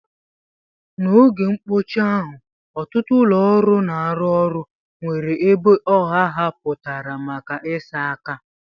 N'oge mkpọchi ahụ, ọtụtụ ụlọ ọrụ na-arụ ọrụ nwere ebe ọha ahapụtara maka ịsa aka.